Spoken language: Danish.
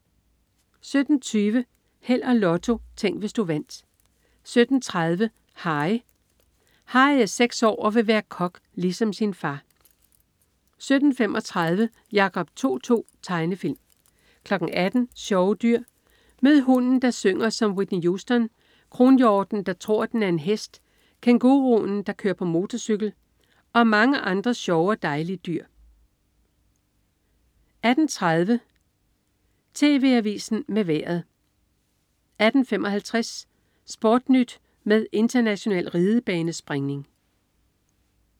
17.20 Held og Lotto. Tænk, hvis du vandt 17.30 Harry. Harry er seks år og vil være kok ligesom sin far 17.35 Jacob To-To. Tegnefilm 18.00 Sjove dyr. Mød hunden, der synger som Whitney Houston, kronhjorten, der tror, den er en hest, kænguruen, der kører på motorcykel, og mange flere sjove og dejlige dyr 18.30 TV Avisen med Vejret 18.55 SportNyt med international ridebanespringning